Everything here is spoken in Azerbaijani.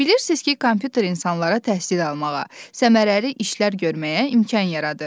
Bilirsiniz ki, kompüter insanlara təhsil almağa, səmərəli işlər görməyə imkan yaradır.